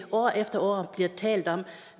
år efter år bliver talt om